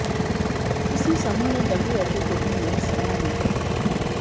इसी समूह ने डब्ल्यूएचओ को भी यह सलाह दी थी